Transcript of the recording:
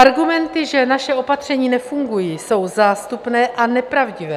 Argumenty, že naše opatření nefungují, jsou zástupné a nepravdivé.